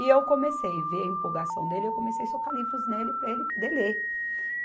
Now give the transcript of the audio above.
E eu comecei ver a empolgação dele, eu comecei socar livros nele para ele poder ler.